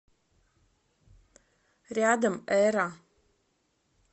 рядом эра